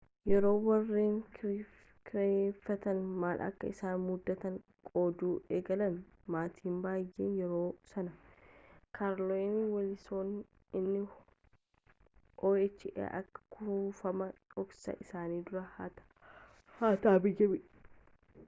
yeroo warreen kireeffatan maal akka isaan mudaate qooduu eegalan maatiin baayeen yerooma sana carolyn wilson inni oha akka kuufamaa dhoksaa isaanii duraa hate biyyaa ba'e yaadatan